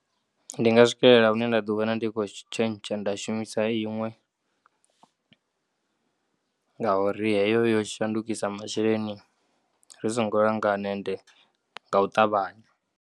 Ndinga swikelela hune nda ḓi vhona ndi tshi kho tshentsha nda shumisa iṅwe ngauri heyo yo shandukisa masheleni ri songo langana ende ngau ṱavhanya.